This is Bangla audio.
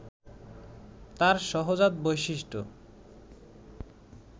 তার সহজাত বৈশিষ্ট্য